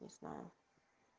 не знаю